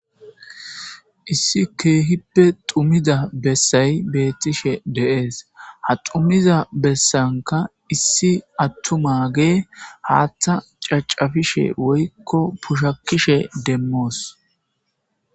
Issi keehippe xumiza bessay beettishe de7ees ha xumiza bessanka issi attumage haaththa cacafishe woykko pushakishe demmoos.